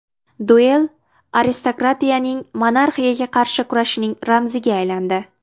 Duel aristokratiyaning monarxiyaga qarshi kurashining ramziga aylandi.